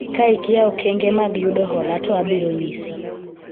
ka ikia okenge mag yudo hola to abiro nyisi